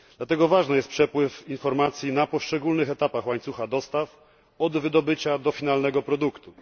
Dlatego ważny jest przepływ informacji na poszczególnych etapach łańcucha dostaw od wydobycia do finalnego produktu.